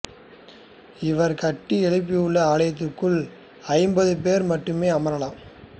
இவர் கட்டி எழுப்பியுள்ள ஆலயத்திற்குல் ஐம்பது பேர் மட்டுமே அமரலாம்